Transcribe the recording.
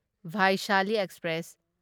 Vaishali express